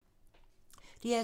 DR2